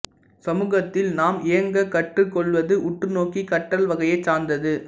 சமுகத்தில் நாம் இயங்கக் கற்றுக் கொள்வது உற்று நோக்கிக் கற்றல் வகையைச் சார்ந்தது